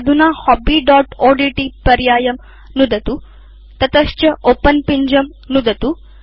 अधुना hobbyओड्ट् पर्यायं नुदतु ततश्च ओपेन पिञ्जं नुदतु